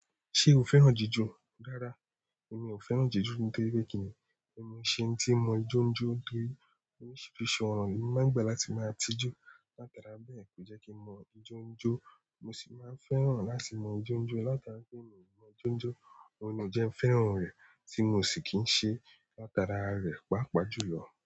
Ṣé o fẹ́ràn jíjò? Rárá, èmi ò fẹ́ràn jiju nítorí pé kíni èmii ṣe eńi tí mọ ijó jó kiri. Oríṣiríṣi ọ̀nà ni mo máa ń gbà láti máa tijú látara bẹ́ẹ̀ kò jẹ́ kí n mọ ijó jó. Mo sì máa fẹ́ràn láti mọ ijó jó látara wí pé mii mo mọ ijó jó, òun ni ò jẹ́ kí n fẹ́ràn rẹ̀ tí mi ò sì kì ń ṣe látara rẹ̀ pàápàá jùlọ.